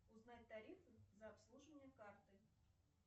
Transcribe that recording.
узнать тарифы за обслуживание карты